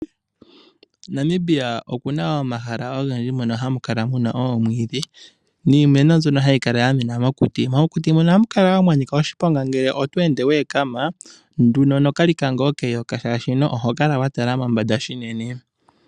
Namibia oku na omahala ogendji mono hamu kala mu na omwiidhi , niimeno mbyono hayi kala yamena mokuti, mokuti mono ohamu kala woo mwa nika oshiponga ngele otweende itoo tala pevi nduno nokalika ngoo keyoka, oshoka oho ende wa tala mombada unene.